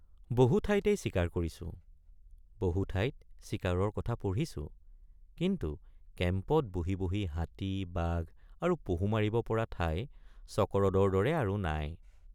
বহু ঠাইতেই চিকাৰ কৰিছোঁ বহু ঠাইত চিকাৰৰ কথা পঢ়িছোঁকিন্তু কেম্পত বহি বহি হাতী বাঘ আৰু পহু মাৰিব পৰা ঠাই চকৰদৰ দৰে আৰু নাই।